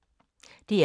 DR K